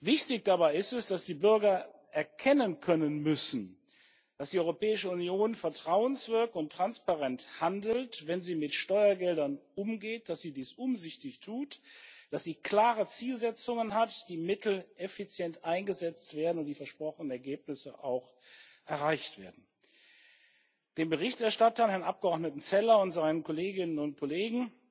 Wichtig dabei ist es, dass die Bürger erkennen können müssen, dass die Europäische Union vertrauenswürdig und transparent handelt, wenn sie mit Steuergeldern umgeht, dass sie dies umsichtig tut, dass sie klare Zielsetzungen hat, die Mittel effizient eingesetzt werden und die versprochenen Ergebnisse auch erreicht werden. Dem Berichterstatter, Herrn Abgeordneten Zeller, und seinen Kolleginnen und Kollegen